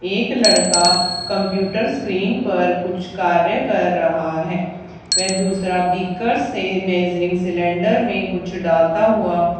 एक लड़का computer screen पर कुछ कार्य कर रहा है वे दूसरा बिकर से मेजरिंग सिलेंडर में कुछ डालता हुआ--